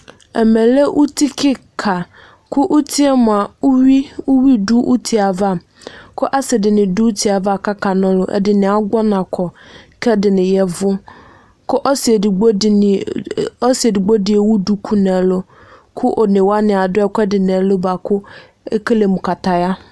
ɛmɛ lɛ uti keka ko utie moa uwi do utie ava ko ase di ni do utie ava ko aka na ɔlo ɛdini agbɔ ɔna kɔ ko ɛdini yavo ko ɔse edigbo di ewu duku no ɛlo ko one wani ado ɛko ɛdi no ɛlo boa ko ekele mo kataya